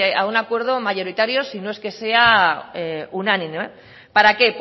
a un acuerdo mayoritario si no es que sea unánime para qué